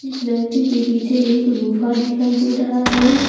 इस व्यक्ति के पीछे एक गुफा दिखाई दे रहा है।